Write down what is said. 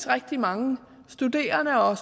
rigtig mange studerende og